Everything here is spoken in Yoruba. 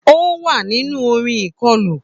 Ó wà nínú orin ìkọlù.